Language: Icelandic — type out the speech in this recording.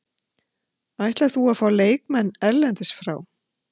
Ætlar þú fá leikmenn erlendis frá?